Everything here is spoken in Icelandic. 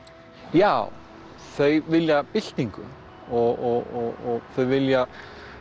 já þau vilja byltingu og þau vilja